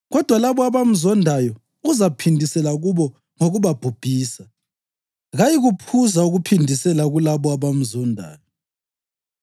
Kodwa labo abamzondayo uzaphindisela kubo ngokubabhubhisa; kayikuphuza ukuphindisela kulabo abamzondayo.